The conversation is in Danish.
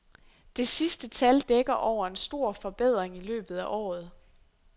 Det sidste tal dækker over en stor forbedring i løbet af året.